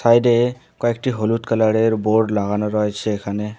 সাইডে কয়েকটি হলুদ কালারের বোর্ড লাগানো রয়েছে এখানে।